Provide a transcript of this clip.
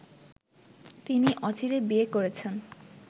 তিনি অচিরে বিয়ে করছেন